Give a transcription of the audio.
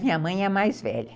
Minha mãe é a mais velha.